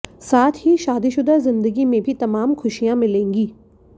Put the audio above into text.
साथ ही शादीशुदा जिंदगी में भी तमाम खुशियां मिलेंगी